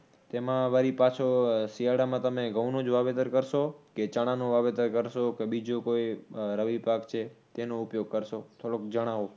તેમાં વરી પાછો શિયાળામાં તમે ઘઉંનો જ વાવેતર કરશો કે ચણાનો વાવેતર કરશો કે બીજો કોઈ રવિ પાક છે તેનો ઉપયોગ કરશો? થોડુક જણાવો.